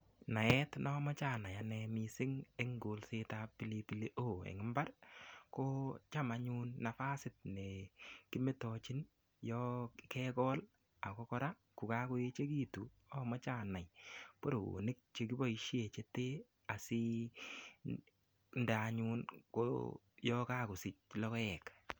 Naet nomoche anai anne mising eng kolsetab pilipili hoho eng imbar, kocham anyun nafasit ne kimetochin yo kegol ago kora ko kakoechegitun amoche anai boroonik che kiboisie chete asinde anyun borook yakakosich logoek.